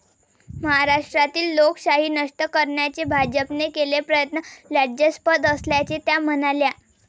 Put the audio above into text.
महाराष्ट्रातील लोकशाही नष्ट करण्याचे भाजपने केलेले प्रयत्न लज्जास्पद असल्याचे त्या म्हणाल्या.